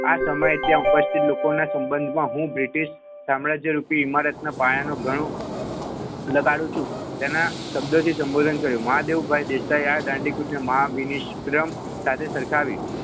આ સમય ત્યાં પછી લોકોના સંબંધમાં હું બ્રિટિશ સામ્રાજ્ય રૂપી ઇમારતના પાયાનો ગણો લગાડું છું તેના શબ્દોથી સંબોધન કર્યું મહાદેવભાઇ દેસાઈ